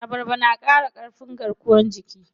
Abarba na ƙara ƙarfin garkuwan jiki.